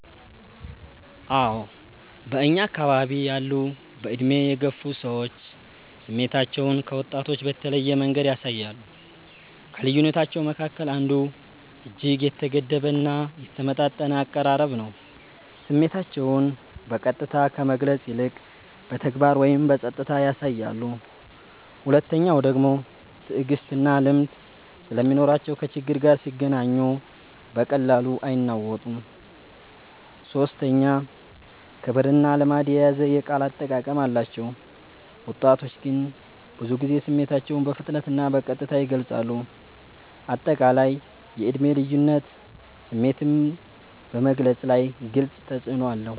አዎ በእኛ አከባቢ ያሉ በዕድሜ የገፉ ሰዎች ስሜታቸውን ከወጣቶች በተለየ መንገድ ያሳያሉ። ከልዩነታቸዉ መካከል አንዱ እጅግ የተገደበ እና የተመጣጠነ አቀራረብ ነው፤ ስሜታቸውን በቀጥታ ከመግለጽ ይልቅ በተግባር ወይም በጸጥታ ያሳያሉ። ሁለተኛዉ ደግሞ ትዕግስትና ልምድ ስለሚኖራቸው ከችግር ጋር ሲገናኙ በቀላሉ አይናወጡም። ሶስተኛ ክብርና ልማድ የያዘ የቃል አጠቃቀም አላቸው፤ ወጣቶች ግን ብዙ ጊዜ ስሜታቸውን በፍጥነትና በቀጥታ ይገልጻሉ። አጠቃላይ የዕድሜ ልዩነት ስሜትን በመግለፅ ላይ ግልጽ ተፅዕኖ አለው።